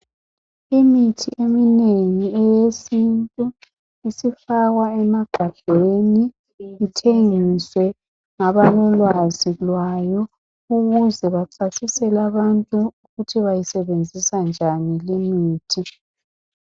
Imithi eminengi eyesintu isifakwa emagabheni ithengiswe ngabalolwazi lwayo ukuze bachasisele abantu ukuthi bayisebenzisa njani limithi.